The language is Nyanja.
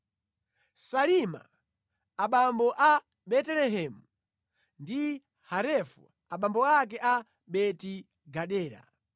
Salima abambo a Betelehemu ndi Harefu abambo ake a Beti-Gadera.